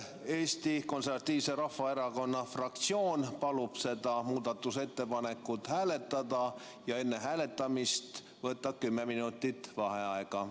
Eesti Konservatiivse Rahvaerakonna fraktsioon palub seda muudatusettepanekut hääletada ja enne hääletamist võtta kümme minutit vaheaega.